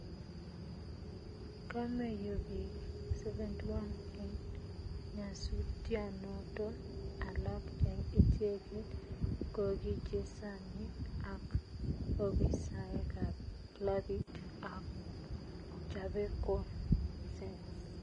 kameiyo piik 71 en nyasutyanoton alag en icheget kogi chesanig ak opisaek ap klapit ap Chapecoense